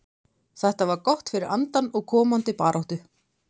Þetta var gott fyrir andann og komandi baráttu.